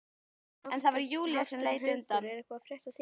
Hafsteinn Hauksson: Er eitthvað að frétta af því?